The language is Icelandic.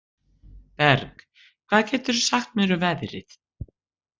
Berg, hvað geturðu sagt mér um veðrið?